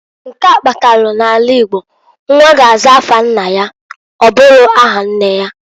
Nke a kpatalu n'ala Igbo nwa ga-aza afa nna ya, ọbụro aha nne ya.